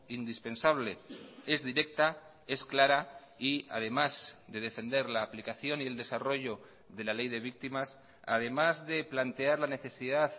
indispensable es directa es clara y además de defender la aplicación y el desarrollo de la ley de víctimas además de plantear la necesidad